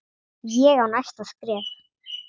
Ég á næsta skref.